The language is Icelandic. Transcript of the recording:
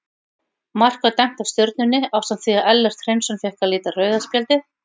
Mark var dæmt af Stjörnunni ásamt því að Ellert Hreinsson fékk að líta rauða spjaldið.